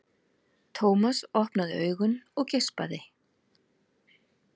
Thomas opnaði augun og geispaði.